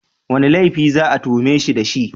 Wane laifi za a tuhume shi da shi?